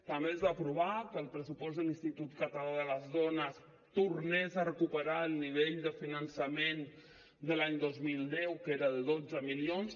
també es va aprovar que el pressupost de l’institut català de les dones tornés a recuperar el nivell de finançament de l’any dos mil deu que era de dotze milions